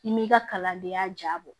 I m'i ka kalandenya ja bɔ